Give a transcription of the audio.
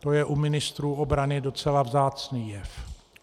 To je u ministrů obrany docela vzácný jev.